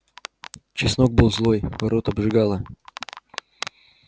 чеснок был злой рот обжигало